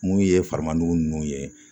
Mun ye faranmadugu ninnu ye